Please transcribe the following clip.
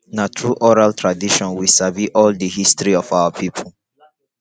na through oral tradition we sabi all the history of our people